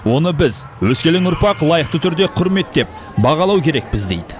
оны біз өскелең ұрпақ лайықты түрде құрметтеп бағалау керекпіз дейді